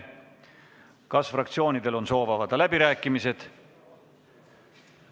Kas fraktsioonidel on soovi pidada läbirääkimisi?